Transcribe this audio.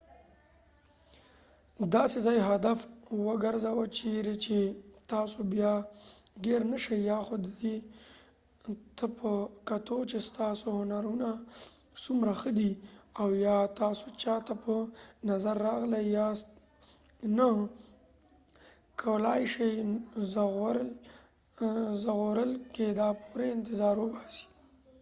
داسې ځای هدف وګرځوه چېرې چې تاسو بیا ګېر نه شئ یا خو دې ته په کتو چې ستاسو هنرونه څومره ښه دي او ایا تاسو چا ته په نظر راغلي یاست یا نه کولای شئ ژغورل کېدا پورې انتظار وباسئ